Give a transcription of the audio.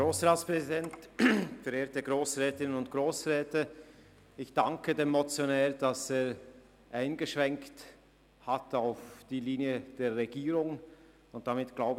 Ich danke dem Motionär, dass er den Vorstoss im Sinn der Regierung gewandelt hat.